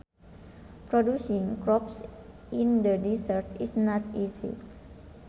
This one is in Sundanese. Producing crops in the deserts is not easy